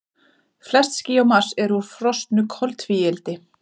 Flest ský á Mars eru úr frosnu koltvíildi.